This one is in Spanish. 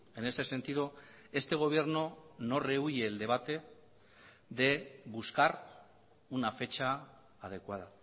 en ese sentido este gobierno no rehuye el debate de buscar una fecha adecuada